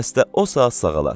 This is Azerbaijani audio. Xəstə o saat sağalar.